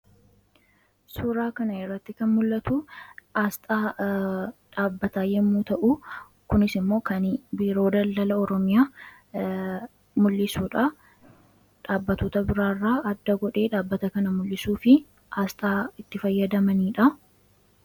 suuraa kana irratti kan mul'atuu aasxaa dhaabbataa yommuu ta'u kunis immoo kan biiroo daldala oromiyaa mul'isuudha dhaabbatota biraarraa adda godhee dhaabbata kana mul'isuu fi aasxaa itti fayyadamaniidha.